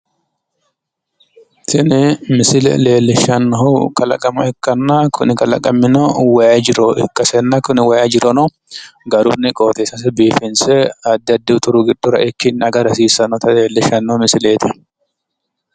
tini misile leellishshanohu kalaqama ikkanna kuni kalaqamino wayi jiro ikkasenna kuni wayi jirono garunni qooxeessase biifinse addi addi uti giddosira eikki agara hasiissannota leellishshanno misileeti.